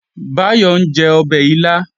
Báyọ̀ ń jẹ ọbẹ̀ ilá